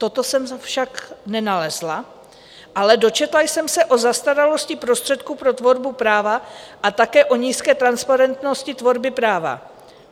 Toto jsem však nenalezla, ale dočetla jsem se o zastaralosti prostředků pro tvorbu práva a také o nízké transparentnosti tvorby práva.